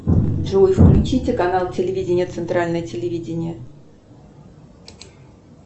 джой включите канал телевидения центральное телевидение